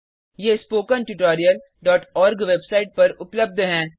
ये spoken tutorialओआरजी website पर उपलब्ध हैं